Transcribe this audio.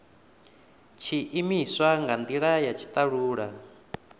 tshiimiswa nga ndila ya tshitalula